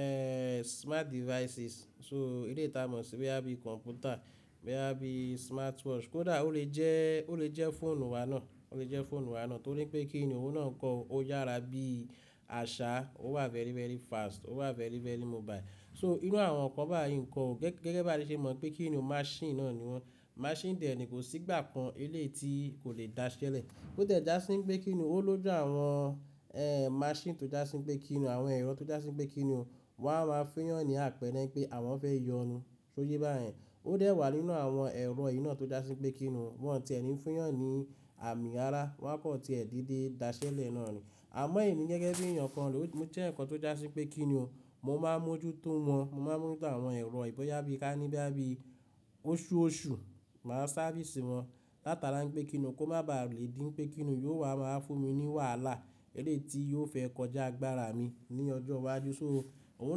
eh smart devices. So eleyii tí a mọ̀ sí boya bi computer, boya bí i smartwatch, kódà ó lè jẹ́, ó lè jẹ́ fóònù wa náà, ó lè jẹ́ fóònù wa náà. Torí pé kíni òun náà kọ, ó yára bí i àṣá, ó wà very, very fast, ó wà very, very mobile. So inú àwọn ǹkan báyìí ń pọ, gẹ́gẹ́ bí a ṣe mọ̀ pé kíni masini náà ni wọ́n. Masini dè ní kò sí ìgbà kan eléyi ti kò lè daṣẹ́lẹ̀. Ó dẹ̀ ja sí pé kíni ó lójú àwọn eh machine tó ja si pé kíni àwọn ẹ̀rọ tó ja sí pé kíni o, wọ́n á máa fiyàn ní àpẹẹrẹ pé àwọn fẹ́ yọnu. Ṣó yé bá yẹn? Ó dẹ̀ wà nínú àwọn ẹ̀rọ yii naa tó já sí pé kíni o, wọ́n ò tí è ní fiyàn ní àmì ara, wọ́n kò tí è dìde daṣẹ́lẹ̀ náà ni. Àmọ́ èmi gẹ́gẹ́ bí èèyàn kan, mo jẹ́ ǹkan tó ja sí pé kíni o, mo máa ń mójútó wọn, mo máa ń mójútó àwọn ẹ̀rọ yii boya bi ká níbí, bí i oṣùosù, màá sáfìsì wọn látara pé kíni o kó má ba lè dín pé kíni o yóò wá máa fún mi ní wàhálà elé yi ti yóò fẹ́ kọjá gbára mi ní ọjọ́ iwájú. Òun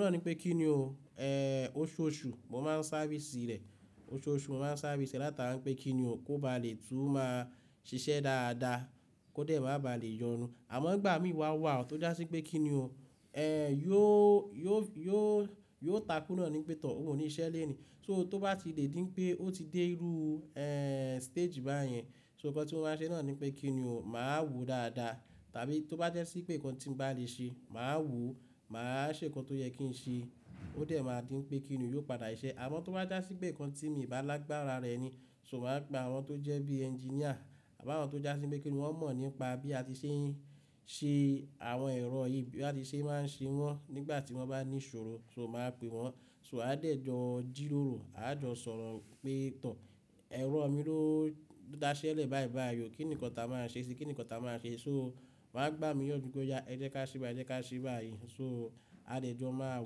náà ni pe kíni o oṣùosù, mo máa ń sáfìsì rẹ̀, oṣùosù mo máa ń sáfìsì rẹ̀ látara pé kíni o kó bá lè tún máa ṣiṣẹ́ dáadáa, kó dẹ̀ má ba lè yọnu. Àmọ́ ìgbà mí wa wà tó já sí pé kíni o eh yóò, yóò, yóò, yóò takúná ni pétọ̀, òun ò ní iṣẹ́ lẹ́ẹ̀ ni. So tó bá ti lè dín pé ó ti dé iru eh stage báyẹn, inkan tí ó máa ṣe náà ni pé kíni o, màá wò dáadáa. Tàbí tó bá jẹ́ sí pé ǹkan tí mo bá lè ṣe, màá wò ó, màá ṣe ǹkan tó yẹ kí n ṣe. Ó dẹ̀ máa dín pé kíni o yóò padà ṣẹ. Àmọ́ tó bá já sí pé ǹkan tí mi ba lágbára rẹ̀ ni, so màá pe àwọn tó jẹ́ bí i ẹnginíà, à bi àwọn tó já sí pé kíni wọ́n mọ̀ nípa bí a ti ṣe ń ṣe àwọn ẹ̀rọ yìí bí a ti ṣe é máa ń ṣe wọ́n nígbà tí wọ́n bá ní ìṣòro, so màá pè wọ́n. So a dẹ̀ jọ jírórò, a jọ sọ̀rọ̀ pé toor, ẹ̀rọ mi ló dáṣẹ́lẹ̀ báyìí báyìí o, kí nìkan ta máa ṣe sí i? Kí nìkan ta máa ṣe? So màá gbà mí yan ju pé oya, ẹ jẹ́ ká ṣe báyìí, ẹ jẹ́ ká ṣe báyìí. So a dẹ̀ jọ máa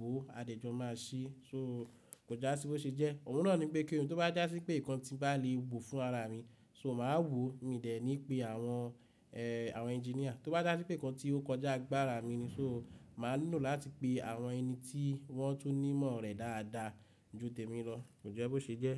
wò, a dẹ̀ jọ máa ṣe. So kò já sí bó ṣe jẹ́. Òun náà ni pé kíni o tó bá já sí pé ǹkan tí bá lè wo fún ra ara mi, so màá wò. Mi dè ní pé àwọn àwọn ẹnginíà tó bá já sí pé ǹkan tí ó kọjá gbára mi ni, so màá lò láti pe àwọn ẹni tí wọ́n tún ní mọ̀ rẹ̀ dáadáa ju tèmi lọ. Kò jẹ́ bó ṣe jẹ́.